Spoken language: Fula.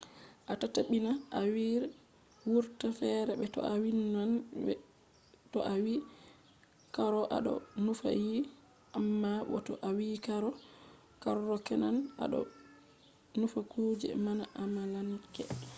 a tabbitina a wi r wurta fere be to a wiyan rr. to a wi karo a ɗo nufa diye amma bo to a wi karro kenan a ɗo nufa kuje bana amalanke